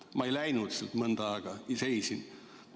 Ma ei läinud sealt mõnda aega ja seisin.